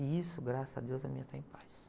E isso, graças a Deus, a minha tá em paz.